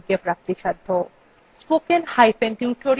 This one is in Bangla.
এই বিষয় বিস্তারিত তথ্য এই লিঙ্কএ প্রাপ্তিসাধ্য